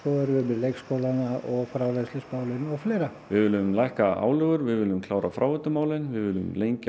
leikskólana frárennslismálin og fleira við viljum lækka álögur við viljum klára fráveitumálin við viljum lengja